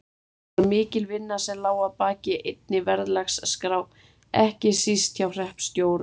Það var mikil vinna sem lá að baki einni verðlagsskrá ekki síst hjá hreppstjórunum.